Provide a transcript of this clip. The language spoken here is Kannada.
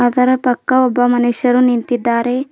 ಇದರ ಪಕ್ಕ ಒಬ್ಬ ಮನುಷ್ಯರು ನಿಂತಿದ್ದಾರೆ.